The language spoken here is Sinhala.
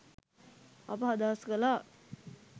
අප අදහස් කලා.